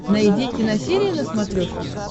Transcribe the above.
найди киносерия на смотрешке